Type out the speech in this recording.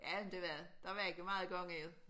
Ja det var det der var ikke meget og gøre ved